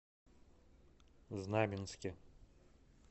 знаменске